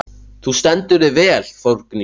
Þú stendur þig vel, Þórgnýr!